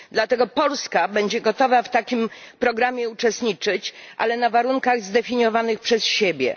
Dlatego Polska będzie gotowa w takim programie uczestniczyć, ale na warunkach zdefiniowanych przez siebie.